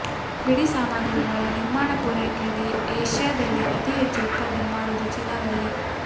ಬಿಡಿ ಸಾಮಾಗ್ರಿಗಳ ನಿರ್ಮಾಣ ಪೂರೈಕೆಯಲ್ಲಿ ಏಷ್ಯಾದಲ್ಲಿ ಅತಿ ಹೆಚ್ಚು ಉತ್ಪಾದನೆ ಮಾಡುವುದು ಚೀನಾದಲ್ಲಿ